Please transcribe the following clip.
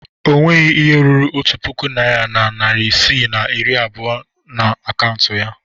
O nweghi ihe ruru otu puku naịra na narị isii na iri abụọ na akaụntụ ya.